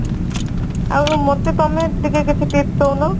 ଆଉ ମତେ ତମେ କିଛି tips ଦଉନ